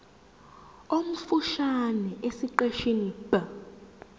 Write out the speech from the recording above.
omfushane esiqeshini b